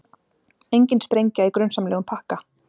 Engin sprengja í grunsamlegum pakka